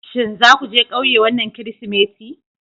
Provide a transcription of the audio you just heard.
Shin za ku je ƙauye wannan Kirsimeti?